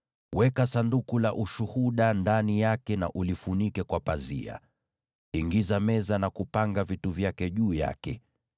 Weka Sanduku la Ushuhuda ndani yake na ulifunike kwa pazia. Ingiza meza na kupanga vitu vyake juu yake.